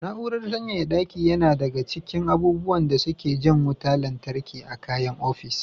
Na'urar sanyaya ɗaki na ɗaya daga cikin abubuwan da suke jan wutar lantarki a kayan ofis.